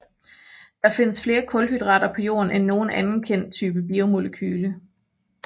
Der findes flere kulhydrater på jorden end nogen anden kendt type biomolekyle